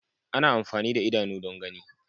Ana amfani da idanu don gani.